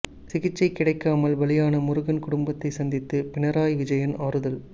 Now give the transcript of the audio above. சிகிச்சை கிடைக்காமல் பலியான முருகன் குடும்பத்தை சந்தித்து பினராயி விஜயன் ஆறுதல்